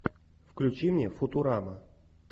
включи мне футурама